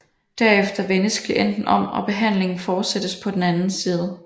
Derefter vendes klienten om og behandlingen fortsættes på den anden side